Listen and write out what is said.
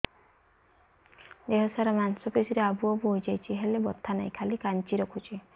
ଦେହ ସାରା ମାଂସ ପେଷି ରେ ଆବୁ ଆବୁ ହୋଇଯାଇଛି ହେଲେ ବଥା ନାହିଁ ଖାଲି କାଞ୍ଚି ରଖୁଛି